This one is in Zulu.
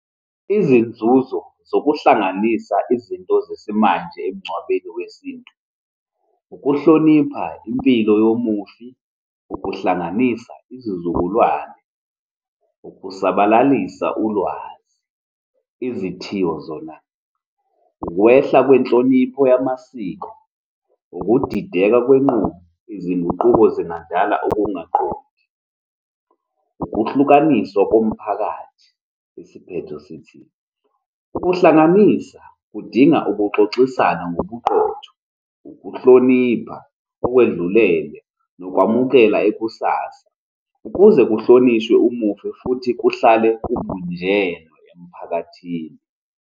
Izinzuzo zokuhlanganisa izinto zesimanje emngcwabeni wesintu, ukuhlonipha impilo yomufi, ukuhlanganisa izizukulwane, ukusabalalisa ulwazi. Izithiyo zona, ukwehla kwenhlonipho yamasiko, ukudideka kwenqubo. Izinguquko ezingadala ukungaqondi, ukuhlukaniswa komphakathi. Isiphetho sithi, ukuhlanganisa kudinga ukuxoxisana ngobuqotho, ukuhlonipha okwedlulele, nokwamukela ikusasa ukuze kuhlonishwe umufi futhi kuhlale kubunjenwe emphakathini.